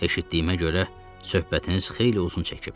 Eşitdiyimə görə söhbətiniz xeyli uzun çəkib.